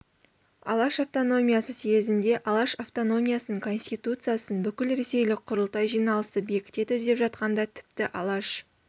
алаш автономиясы съезінде алаш автономиясының конституциясын бүкілресейлік құрылтай жиналысы бекітеді деп жатқанында тіпті алаш